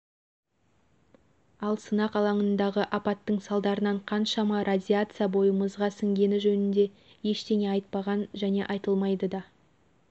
ал сынақ алағындағы апаттың салдарынан қаншама радиация бойымызға сіңгені жөнінде ештеңе айтпаған және айтылмайды да